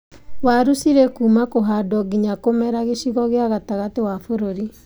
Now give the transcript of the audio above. Waru cirĩ kuuma kũhandwo nginya kũmera gĩcigo gĩa gatagatĩ wa bũrũri